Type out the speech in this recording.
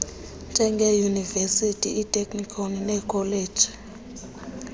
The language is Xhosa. njengeeyunivesithi iiteknikhoni neekholeji